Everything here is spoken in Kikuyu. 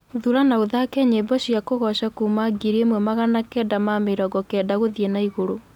thũra na ũthake nyĩmbo cĩa kugoca kũma ngiri ĩmwe magana kenda ma mĩrongo kenda guthii naiguru